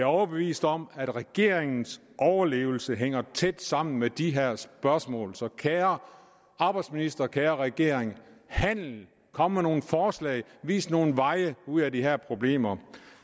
overbevist om at regeringens overlevelse hænger tæt sammen med de her spørgsmål så kære arbejdsminister kære regering handl kom med nogle forslag vis nogle veje ud af de her problemer